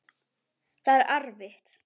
Það er erfitt.